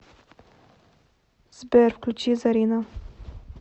сбер включи зарина